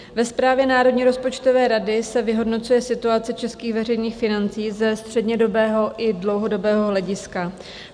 Ve zprávě Národní rozpočtové rady se vyhodnocuje situace českých veřejných financí ze střednědobého i dlouhodobého hlediska.